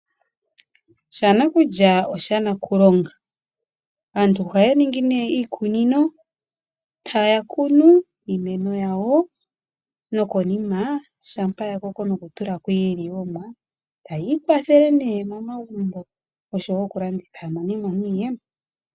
Sha nakulya osho shanakulonga. Aantu ohaya ningi iikununo e ta ya kunu iimeno yawo nokonima shampa ya koko noku tulako iiliwomwa taya ikwathele momagumbo osho wo oku landitha ya mone mo iiyemo.